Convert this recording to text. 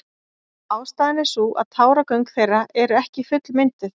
Ástæðan er sú að táragöng þeirra eru ekki fullmynduð.